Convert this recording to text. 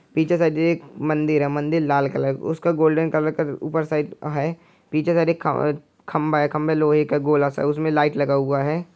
पीछे शायद एक मंदिर है मंदिर लाल कलर उसका गोल्डन कलर का ऊपर साइड ह पीछे शायद ख खम्बा है खम्बा लोहे का गोला सा है उसमें लाइट लगा हुआ है।